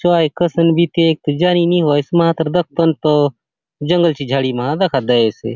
चो आय कसन बीती आय जानी नी होए मातर दखतो के तो जंगल सी झाड़ी मा दखा दयेसे।